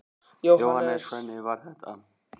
Jóhannes: Hvernig var þetta?